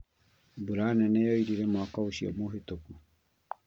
Mbura nene yoirire mwaka ũcio mũhĩtũku